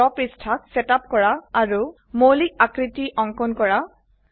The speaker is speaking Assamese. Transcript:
ড্ৰ পৃষ্ঠাক সেট আপ কৰা আৰু মৌলিক আকৃতি অঙ্কন কৰা